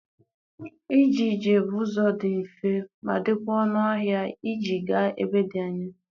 . Ije ije bụ ụzọ dị mfe ma dịkwa ọnụ ahịa iji gaa ebe dị anya.